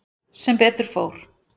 Sem betur fór.